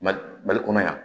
Mali kɔnɔ yan